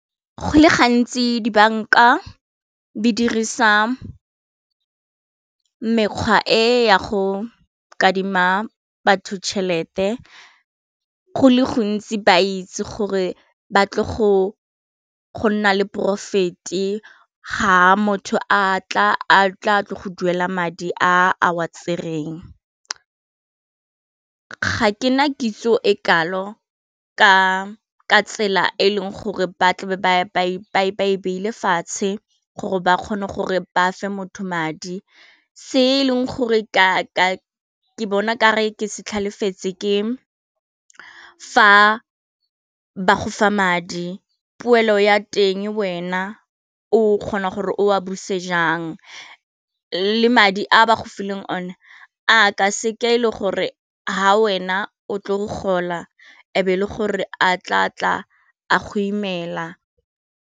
Go le gantsi dibanka di dirisa mekgwa e ya go kadima batho tšhelete go le gontsi ba itse gore batle go nna le porofete ga motho a tla tle go duela madi a wa tsereng, ga ke na kitso e kalo ka tsela e leng gore ba tla be e ile fatshe gore ba kgone gore ba fa motho madi se e leng gore ka bona gore ke se tlhaletse ke fa ba gofa madi poelo ya teng wena o kgona gore o a buse jang, le madi a ba go fileng o ne a ka seka e le gore ha wena o tle go gola ebe le gore a tla tla a go imela